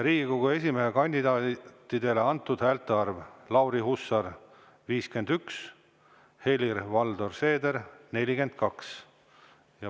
Riigikogu esimehe kandidaatidele antud häälte arv: Lauri Hussar – 51, Helir-Valdor Seeder – 42.